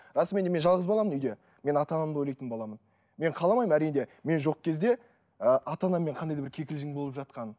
расымен де мен жалғыз баламын үйде мен ата анамды ойлайтын баламын мен қаламаймын әрине мен жоқ кезде ы ата анаммен қандай да бір кикілжің болып жатқанын